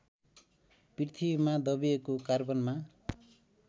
पृथ्वीमा दबिएको कार्बनमा